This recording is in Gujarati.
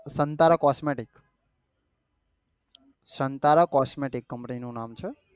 સંતારા cosmetic cosmetic company નું નામ છે